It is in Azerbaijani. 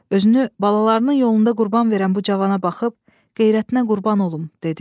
Özünü balalarının yolunda qurban verən bu cavana baxıb, qeyrətinə qurban olum dedi.